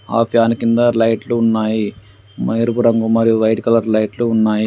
ఆ ఫ్యాను కింద లైట్లు ఉన్నాయి. ఎరుపు రంగు మరియు వైట్ కలర్ లైట్లు ఉన్నాయి.